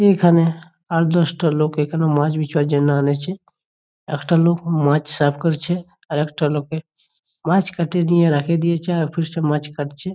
এখানে আট -দশ টা লোক এখানে মাছ বিচার জন্য আনেছে। একটা লোক মাছ সাফ করছে আর একটা লোকের মাছ কেটে নিয়ে রেখে দিয়েছে আর ফির সে মাছ কাটছে।